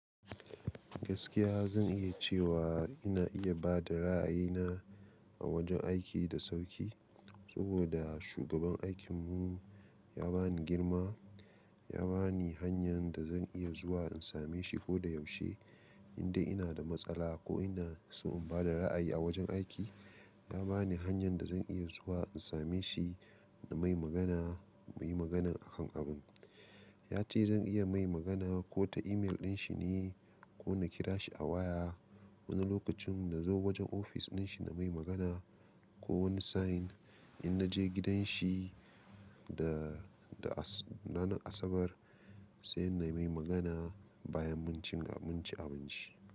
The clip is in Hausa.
Gaskiya zan iya cewa ina iya ba da ra'ayina a wajen aiki da sauƙi, saboda shugaban aikinmu ya bani girma. Ya bani hanyar da zan iya zuwa in same shi koda yaushe, indai ina da matsala ko ina so in ba da ra'ayi a wajen aiki. Ya bani hanyar da zan iya zuwa in same shi na mai magana muyi magana akan abun. Ya ce zan iya mai magana ko ta email dinshi ne ko na kira shi a waya. Wani lokacin na zo wajen ofis dinshi na mai magana ko wani sa'in in naje gidan shi da, da ranar Asabar sai na mai magana bayan mun ci, mun ci abinci.